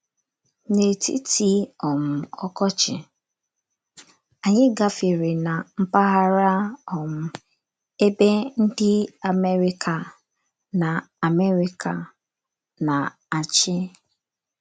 N’etiti um ọkọchị, anyị gafere ná mpaghara um ebe ndị America na - America na - achị..